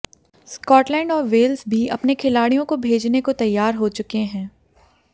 Scotland और Wales भी अपने खिलाडि़यों को भेजने को तैयार हो चुके हैं